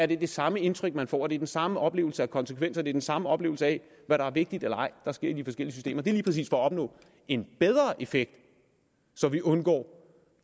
det samme indtryk man får er det den samme oplevelse af konsekvenser er det den samme oplevelse af hvad der er vigtigt eller ej der sker i de forskellige systemer det er lige præcis for at opnå en bedre effekt så vi undgår